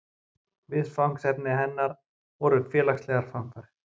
Viðfangsefni hennar voru félagslegar framfarir.